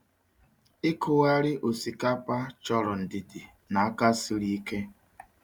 Ịkụgharị osikapa chọrọ ndidi na aka siri ike.